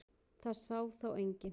Það sá þá enginn.